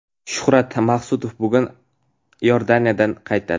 Shuhrat Maqsudov bugun Iordaniyadan qaytadi.